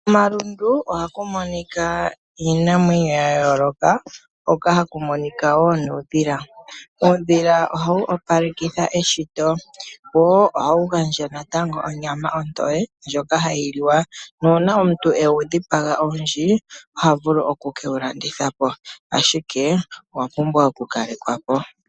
Momalundu oka mu monika iinamwenyo ya yooloka, hoka ha ku monika wo nuudhila. Uudhila oha wu opalekittha eshito. Oha wu gandja natango onyama ontoye ndjoka ha yi liwa. Nuuna omuntu ewu dhipaga owundji, oha vulu oku ke wu landithapo. Ashike owa pumbwa oku kalekwapo.